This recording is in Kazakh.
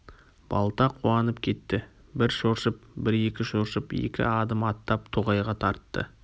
балта қуанып кетті бір шоршып бір екі шоршып екі адым аттап тоғайға тартты